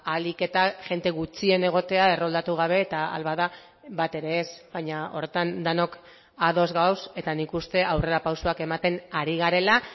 ahalik eta jende gutxien egotea erroldatu gabe eta ahal bada bat ere ez baina horretan denok ados gaude eta nik uste aurrerapausoak ematen ari garela